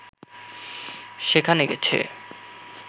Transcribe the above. সেখানে গেছে